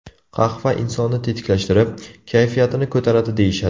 Qahva insonni tetiklashtirib, kayfiyatini ko‘taradi deyishadi.